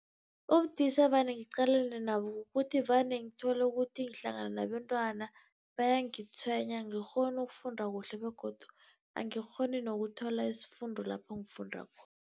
Ubudisi evane ngiqalane nabo, kukuthi vane ngithole ukuthi ngihlangana nabentwana bayangitshwenya angikghoni ukufunda kuhle begodu angikghoni nokuthola isifundo lapho ngifunda